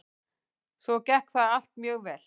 Svo gekk það allt mjög vel.